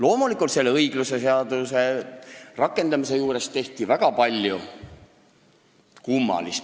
Seejuures tehti selle õigluse jaluleseadmisel aga väga palju kummalist.